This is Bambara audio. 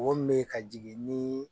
O me ka jigin ni